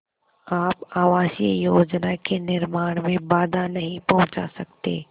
आप आवासीय योजना के निर्माण में बाधा नहीं पहुँचा सकते